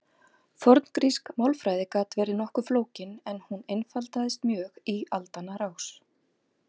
forngrísk málfræði gat verið nokkuð flókin en hún einfaldaðist mjög í aldanna rás